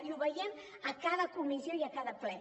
i ho veiem a cada comissió i a cada ple